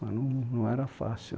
Mas não era fácil.